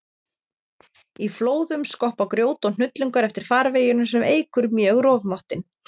Í flóðum skoppa grjót og hnullungar eftir farveginum sem eykur mjög rofmáttinn.